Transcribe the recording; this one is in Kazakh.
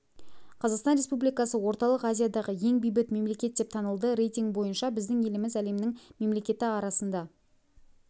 қазақстан республикасы орталық азиядағы ең бейбіт мемлекет деп танылды рейтингі бойынша біздің еліміз әлемнің мемлекеті арасында